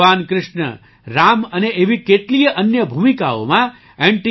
ભગવાન કૃષ્ણ રામ અને એવી કેટલીય અન્ય ભૂમિકાઓમાં એન